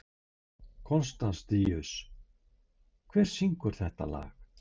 Konstantínus, hver syngur þetta lag?